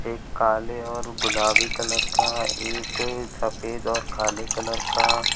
काले और गुलाबी कलर का एक सफेद और काले कलर का--